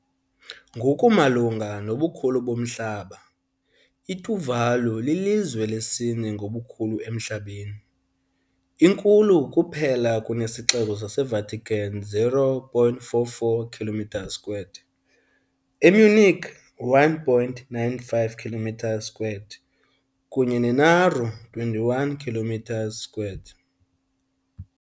Ngokumalunga nobukhulu bomhlaba, iTuvalu lilizwe lesine ngobukhulu emhlabeni, inkulu kuphela kunesiXeko saseVatican, 0.44 kilometres squared , eMunich, 1.95 kilometre squared kunye neNauru, 21 kilometres squared.